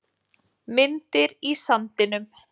Hafsteina, ferð þú með okkur á þriðjudaginn?